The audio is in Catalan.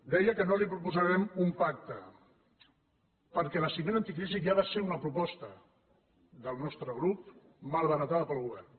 deia que no li proposarem un pacte perquè la cimera anticrisi ja va ser una proposta del nostre grup malbaratada pel govern